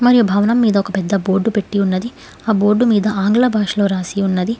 ఈ భవనం మీద ఒక పెద్ద బోర్డు పెట్టి ఉన్నది ఆ బోర్డు మీద ఆంగ్ల భాషలో రాసి ఉన్నది.